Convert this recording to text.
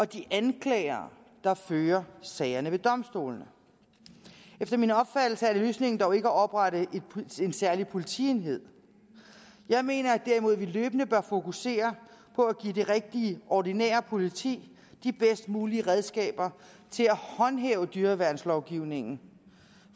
de anklagere der fører sagerne ved domstolene efter min opfattelse er løsningen dog ikke at oprette en særlig politienhed jeg mener at vi løbende bør fokusere på at give det rigtige ordinære politi de bedst mulige redskaber til at håndhæve dyreværnslovgivningen